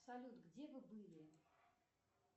салют где вы были